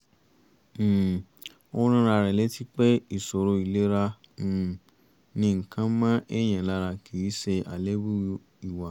um ó rán ara rẹ̀ létí pé ìṣòro ìlera um ni nǹkan mọ èèyàn lára kì í ṣe àléébù ìwà